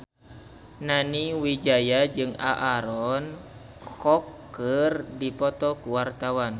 Nani Wijaya jeung Aaron Kwok keur dipoto ku wartawan